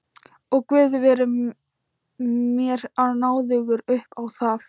Og guð veri mér náðugur upp á það.